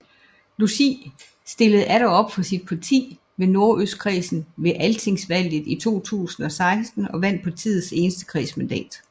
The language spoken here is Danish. Logi stillede atter op for sit parti i Nordøstkredsen ved altingsvalget i 2016 og vandt partiets eneste kredsmandat